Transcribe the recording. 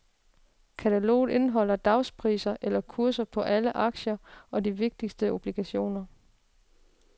Kataloget indeholder dagspriser, eller kurser, på alle aktier og de vigtigste obligationer.